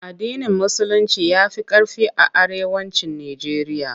AddinIn Musulinci ya fi ƙarfi a Arewacin Nijeriya.